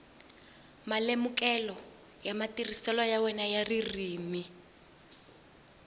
malemukelo ya matirhiselo ya ririmi